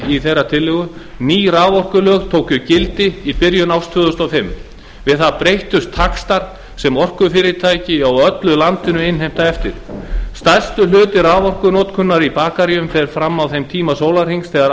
í þeirra tillögu ný raforkulög tóku gildi í byrjun árs tvö þúsund og fimm við það breyttust taxtar sem orkufyrirtæki á öllu landinu innheimta eftir stærsti hluti raforkunotkunar í bakaríum fer fram á þeim tíma sólarhrings þegar